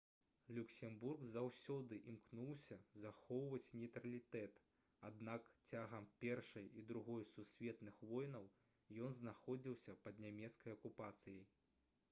люксембург заўсёды імкнуўся захоўваць нейтралітэт аднак цягам першай і другой сусветных войнаў ён знаходзіўся пад нямецкай акупацыяй